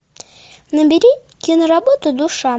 набери киноработу душа